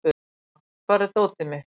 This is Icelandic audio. Dúa, hvar er dótið mitt?